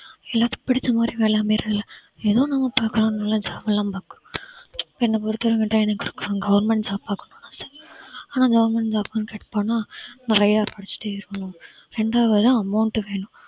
எல்லாத்துக்கும் பிடிச்ச மாதிரி வேலை அமையறதில்ல ஏதோ நம்ம பார்க்கலாம் பார்க்கலாம் என்ன பொறுத்தவரைக்கும் government job பார்க்கனுன்னு ஆசை ஆனா government job குனு try பண்ணா நிறைய படிச்சுட்டே இருக்கணும் இரண்டாவுதா amount வேணும்